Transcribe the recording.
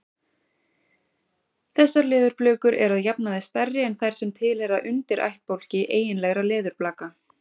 Þessar leðurblökur eru að jafnaði stærri en þær sem tilheyra undirættbálki eiginlegra leðurblaka.